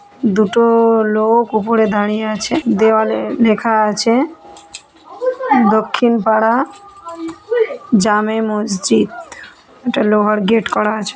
দুটো-ও লোক উপরে দাঁড়িয়ে আছে দেওয়ালে লেখা আছে দক্ষিণ পাড়া জামে মসজিদ একটা লোহার গেট করা আছে-